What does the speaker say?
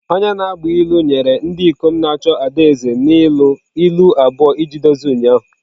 Onye na-agba ilu nyere ndị ikom na-achọ ada eze n'ịlụ ilu ilu abụọ iji dozie ụnyaahụ.